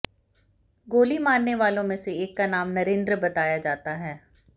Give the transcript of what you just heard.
गोली मारने वालों मे से एक का नाम नरेन्द्र बताया जाता है